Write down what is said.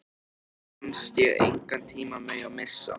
Mér fannst ég engan tíma mega missa.